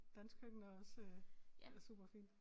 Danske køkken er også øh superfint